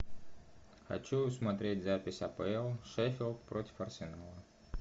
хочу смотреть запись апл шеффилд против арсенала